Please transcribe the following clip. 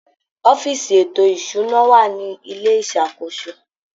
Ọ́fíìsì ètò ìṣụ́ná wà ní ilé ìṣakóso.